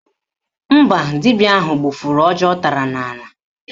Mba, dibịa ahụ gbụfụrụ ọjị ọ tara n'ala